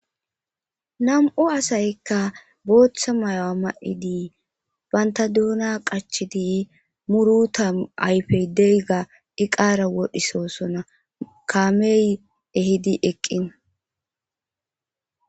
nam7u asaykka booththa mayo a ma7i dii banta duuna qachi dii muruta ayfey degga diqara wodhisoosona kaamey ehidi eqqina